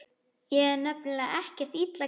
Ég er nefnilega ekkert illa gefinn.